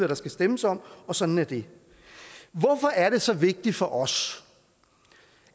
der skal stemmes om og sådan er det hvorfor er det så vigtigt for os